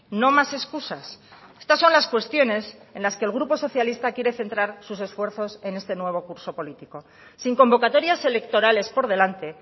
no más excusas estas son las cuestiones en las que el grupo socialista quiere centrar sus esfuerzos en este nuevo curso político sin convocatorias electorales por delante